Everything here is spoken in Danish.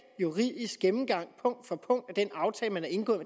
juridisk gennemgang punkt for punkt af den aftale man har indgået